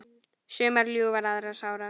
Sumar ljúfar aðrar sárar.